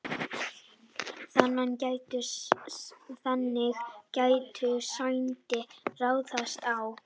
þannig gætu sætin raðast á